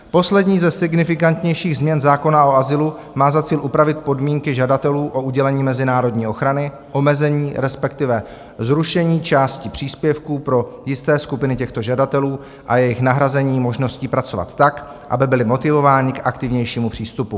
Poslední ze signifikantnějších změn zákona o azylu má za cíl upravit podmínky žadatelů o udělení mezinárodní ochrany, omezení, respektive zrušení části příspěvků pro jisté skupiny těchto žadatelů a jejich nahrazení možností pracovat tak, aby byli motivováni k aktivnějšímu přístupu.